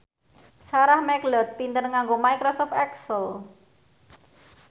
Sarah McLeod pinter nganggo microsoft excel